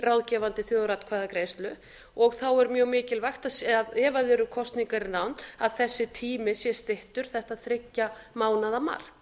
ráðgefandi þjóðaratkvæðagreiðslu og þá er mjög mikilvægt ef það eru kosningar í nánd að þessi tími sé styttur þetta þriggja mánaða mark